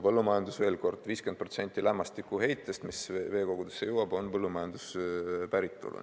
Veel kord, 50% lämmastikuheitest, mis veekogudesse jõuab, on põllumajanduspäritolu.